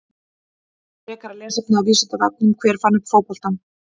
Frekara lesefni af Vísindavefnum: Hver fann upp fótboltann?